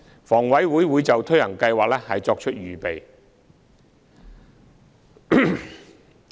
房委會會就推行計劃作出預備。